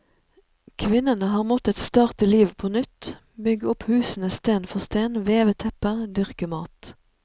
Kvinnene har måttet starte livet på nytt, bygge opp husene sten for sten, veve tepper, dyrke mat.